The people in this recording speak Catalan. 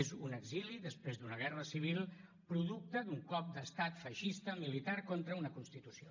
és un exili després d’una guerra civil producte d’un cop d’estat feixista militar contra una constitució